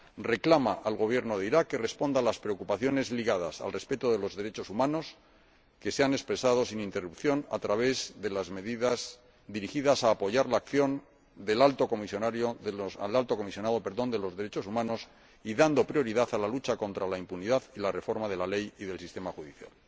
Reclama al Gobierno de Irak que responda a las preocupaciones ligadas al respeto de los derechos humanos, que se han expresado sin interrupción a través de las medidas dirigidas a apoyar la acción del Alto Comisionado de los Derechos Humanos y dando prioridad a la lucha contra la impunidad y a la reforma de la ley y del sistema judicial.